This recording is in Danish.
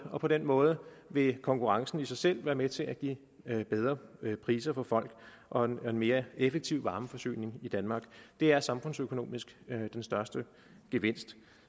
og på den måde vil konkurrencen i sig selv være med til at give bedre priser for folk og en mere effektiv varmeforsyning i danmark det er samfundsøkonomisk den største gevinst